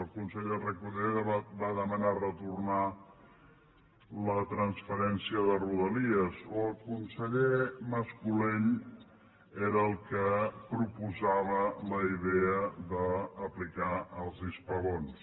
el conseller reco·der va demanar retornar la transferència de rodalies o el conseller mas·colell era el que proposava la idea d’aplicar els hispabons